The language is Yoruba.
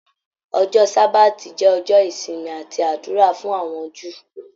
Ọjọ sabati jẹ ọjọ ìsinmi àti ádùrá fún àwọn Júù.